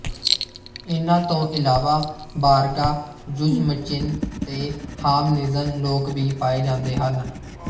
ਇਹਨਾਂ ਤੋਂ ਇਲਾਵਾ ਬਾਰਗਾ ਯੁਜਮਚਿਨ ਤੇ ਹਾਮਨਿਜਨ ਲੋਕ ਵੀ ਪਾਏ ਜਾਂਦੇ ਹਨ